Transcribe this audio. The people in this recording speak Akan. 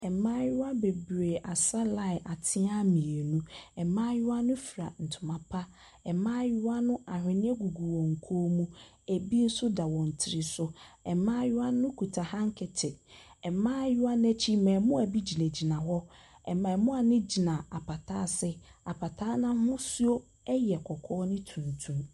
Mmaayewa bebree asa line atena mmienu. Mmaayewa no fira ntoma pa. Mmaayewa no ahwenneɛ gugu wɔn kɔn mu ebi nso da wɔn tiri so. Mmaayewa no kuta hankɛkyief. Ɛmmaayewa no akyi, mmaamua bi gyinagyina hɔ. Mmaamua no gyina apata ase. Apata no ahosuo ɛyɛ kɔkɔɔ ne tumtum.